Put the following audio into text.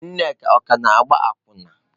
Nneka ọ ka na-agba akwụna?